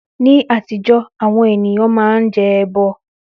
Ní àtijọ́, àwọn ènìyàn máa ń jẹ ẹbọ